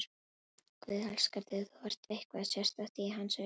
Guð elskar þig, þú ert eitthvað sérstakt í hans augum.